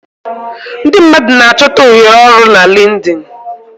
Ndị mmadụ na-achọta ohere ọrụ na Linkdin.